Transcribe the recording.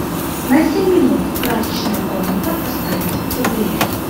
на семь минут прачечная комната поставить теплее